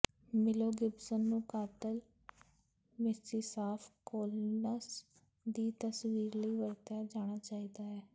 ਮਿਲੋ ਗਿਬਸਨ ਨੂੰ ਕਾਤਲ ਮਿਸੀਸਾਫ਼ ਕੋਲੀਨਸ ਦੀ ਤਸਵੀਰ ਲਈ ਵਰਤਿਆ ਜਾਣਾ ਚਾਹੀਦਾ ਹੈ